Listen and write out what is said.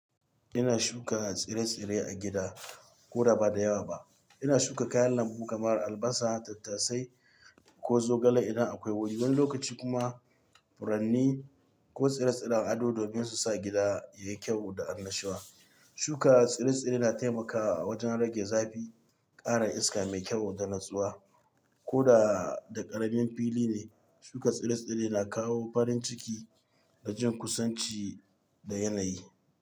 Ina shuka tsire-tsire a gida ko da ba da yawa ba. Ina shuka kayan lambu kamar albasa, tattasai, ko zogale idan akwai wuri. Wani lokaci kuma furanni ko tsire-tsiren ado domin su sa gida yayi kyau da annashuwa. Shuka tsire-tsire na taimakawa wajen rage zafi, ƙara iska mai kyau da natsuwa. Ko da ƙaramin fili ne, shuka tsire-tsire na kawo farin ciki da jin kusanci da yanayi.